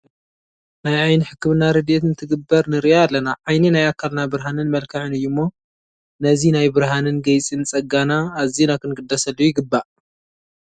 ናይ ዓይኒ ሕክምና ረድኤት እንትግበር ንርኢ ኣለና፡፡ ዓይኒ ናይ ኣካልና ብርሃንን መልክዕን እዩ እሞ ነዚ ናይ ብርሃንን ገይፅን ፀጋና ኣዚና ክንግደሰሉ ይግባእ፡፡